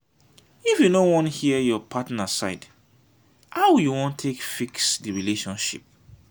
if you no wan hear your partner side how you wan take fix di relationship?